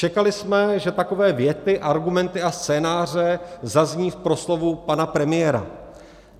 Čekali jsme, že takové věty, argumenty a scénáře zazní v proslovu pana premiéra.